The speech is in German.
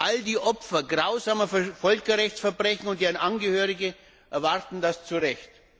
All die Opfer grausamer Völkerrechtsverbrechen und deren Angehörige erwarten das zu Recht.